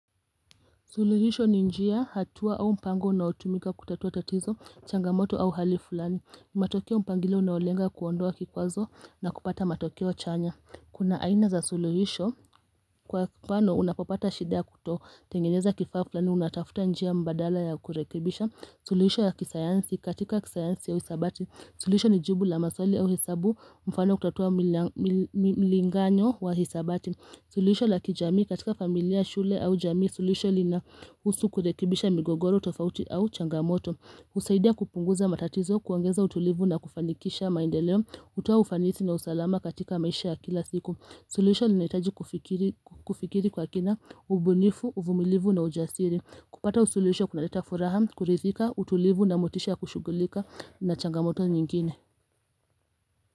Suluhisho ni njia hatua au mpango unaotumika kutatua tatizo, changamoto au hali fulani. Matokeo mpangilio unaolenga kuondoa kikwazo na kupata matokeo chanya. Kuna aina za suluhisho kwa kipana unapopata shida ya kutotengeneza kifaa fulani unatafuta njia mbadala ya kurekebisha. Suluhisho ya kisayansi katika kisayansi ya hisabati. Suluhisho ni jibu la maswali au hesabu mfano kutatua milinganyo wa hisabati. Suluhisho la kijamii katika familia shule au jamii. Suluhisho linahusu kurekebisha migogoro tofauti au changamoto. Husaidia kupunguza matatizo kuongeza utulivu na kufanikisha maendeleo. Hutoa ufanisi na usalama katika maisha ya kila siku. Suluhisho linahitaji kufikiri kwa kina ubunifu, uvumilivu na ujasiri. Kupata suluhisho kunaleta furaha, kuridhika, utulivu na motisha ya kushugulika na changamoto nyingine.